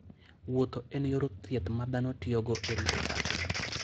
Wuotho en yor thieth ma dhano tiyogo e rito pachgi.